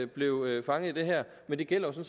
blev fanget i det her men det gælder jo